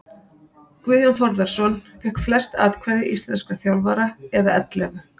Guðjón Þórðarson fékk flest atkvæði íslenskra þjálfara eða ellefu.